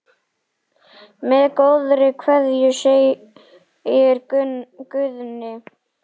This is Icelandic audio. Með góðri kveðju, segir Guðni.